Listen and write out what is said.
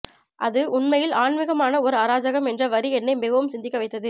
அது உண்மையில் ஆன்மிகமான ஓர் அராஜகம் என்ற வரி என்னை மிகவும் சிந்திக்க வைத்தது